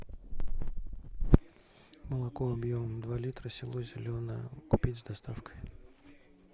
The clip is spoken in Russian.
молоко объемом два литра село зеленое купить с доставкой